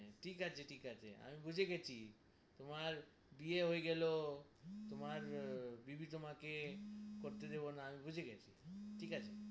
ঠিক আছে ঠিক আছে আমি বুঝে গেছি তোমার বিয়ে হয়ে গেলো , তোমার় বিবি তোমাকে করতে দিবো না ঠিক আছে,